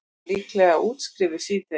Líklega útskrifuð síðdegis